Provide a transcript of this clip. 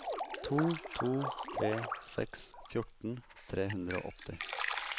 to to tre seks fjorten tre hundre og åtti